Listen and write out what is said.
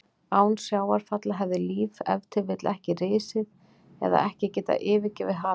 Án sjávarfalla hefði líf ef til vill ekki risið eða ekki getað yfirgefið hafið.